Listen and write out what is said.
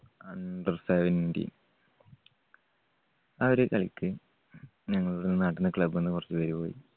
Under seventeen ആ ഒരു കളിക്ക് ഞങ്ങളുടെ നാട്ടിൽനിന്ന് club ന്ന് കുറച്ചുപേര് പോയി.